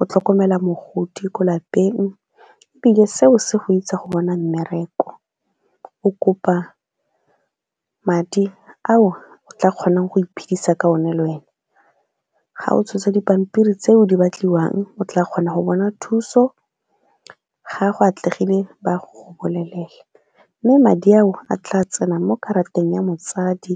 o tlhokomela mogodi ko lapeng, ebile seo se go itsa go bona mmereko o kopa madi ao tla kgonang go iphidisa ka one le wena. Ga o tshotse dipampiri tseo di batliwang o tla kgona go bona thuso ga a go atlegile ba a go bolelela, mme madi ao a tla tsena mo karateng ya motsadi.